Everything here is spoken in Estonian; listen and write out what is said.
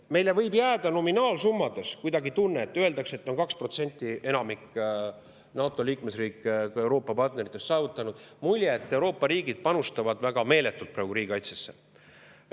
Meile võib jääda nominaalsummade põhjal kuidagi tunne, kui öeldakse, et 2% on enamik nii NATO liikmesriikidest kui ka meie Euroopa-partneritest saavutanud, et Euroopa riigid panustavad praegu väga meeletult riigikaitsesse.